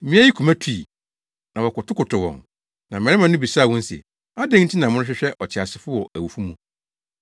Mmea yi koma tui, na wɔkotokotow wɔn, na mmarima no bisaa wɔn se, “Adɛn nti na morehwehwɛ ɔteasefo wɔ awufo mu?